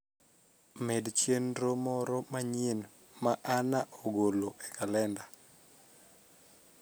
med chenro moro manyien ma anna ogolo e kalenda